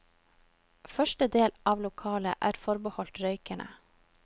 Første del av lokalet er forbeholdt røykerne.